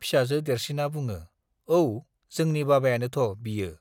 फिसाजो देरसिना बुङो, औ, जोंनि बाबायानोथ' बियो।